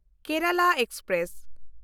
Kerala express